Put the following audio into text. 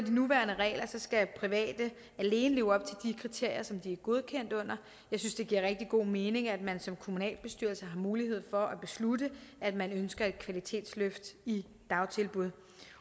de nuværende regler skal private alene leve op til de kriterier de er godkendt under jeg synes det giver rigtig god mening at man som kommunalbestyrelse har mulighed for at beslutte at man ønsker et kvalitetsløft i dagtilbuddene